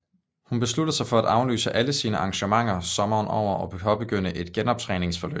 Hun besluttede sig for at aflyse alle sine arrangementer sommeren over og påbegyndte et genoptræningsforløb